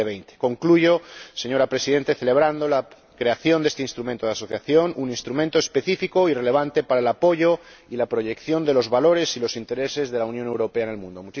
2020. Concluyo, señora Presidenta, celebrando la creación de este Instrumento de Asociación, un instrumento específico y relevante para el apoyo y la proyección de los valores y los intereses de la Unión Europea en el mundo.